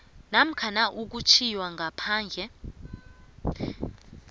namkha ukutjhiywa ngaphandle